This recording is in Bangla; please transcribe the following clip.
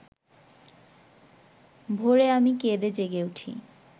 ভোরে আমি কেঁদে জেগে উঠি